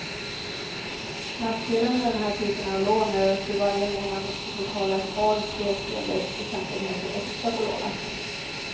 Nackdelen med den här typen av lån är att du varje månad får betala ett par, tre tiondels procentenheter extra på lånet.